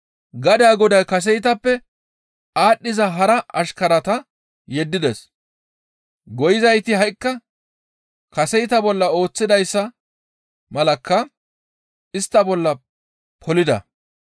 Gadaa goday kaseytappe aadhdhiza hara ashkarata yeddides. Goyizayti ha7ikka kaseyta bolla ooththidayssa malakka istta bollaka polida.